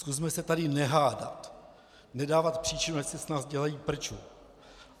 Zkusme se tady nehádat, nedávat příčinu, ať si z nás dělají prču.